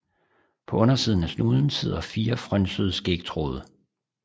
På undersiden af snuden sidder fire frynsede skægtråde